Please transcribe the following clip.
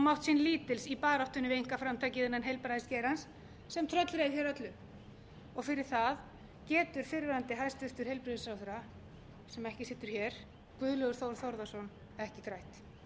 mátt sín lítils í baráttunni við einkaframtakið innan heilbrigðisgeirans sem tröllreið hér öllu fyrir það getur fyrrverandi hæstvirtum heilbrigðisráðherra sem ekki situr hér guðlaugur þór þórðarson ekki þrætt